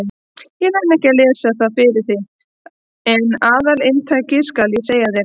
Ég nenni ekki að lesa það fyrir þig en aðalinntakið skal ég segja þér.